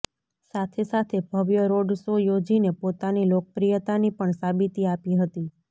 સાથે સાથે ભવ્ય રોડ શો યોજીને પોતાની લોકપ્રિયતાની પણ સાબિતી આપી હતી